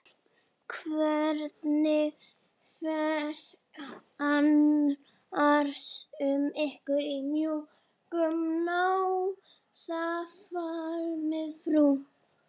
Hvernig fer annars um ykkur í mjúkum náðarfaðmi frú